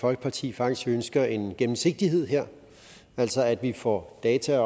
folkeparti faktisk ønsker en gennemsigtighed her altså at vi får data